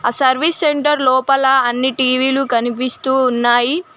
Service centre లోపల అన్ని టీవీలు కనిపిస్తూ ఉన్నాయి.